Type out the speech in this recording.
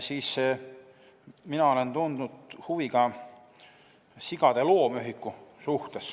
Mina olen tundnud huvi ka sigade loomühiku vastu.